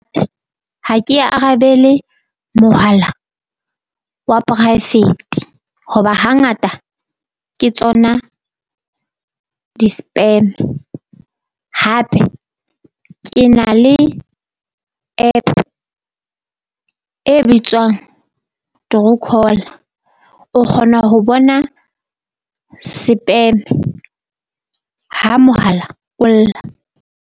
Ha ke arabele mohala wa poraefete, hoba hangata ke tsona di spam. Hape ke na le App e bitswang True Call o kgona ho bona ha mohala o lla.